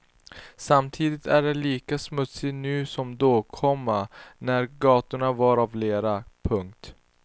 Samtidigt är allt lika smutsigt nu som då, komma när gatorna var av lera. punkt